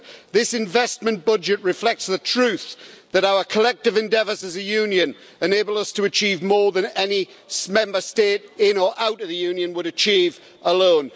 This investment budget reflects the truth that our collective endeavours as a Union enable us to achieve more than any Member State in or out of the Union would achieve alone.